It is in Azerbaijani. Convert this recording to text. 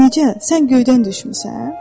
Necə, sən göydən düşmüsən?